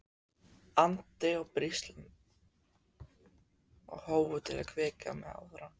andi og blístrandi, og hófu að hvetja mig áfram.